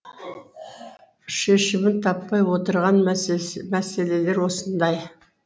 шешімін таппай отырған мәселелер осындай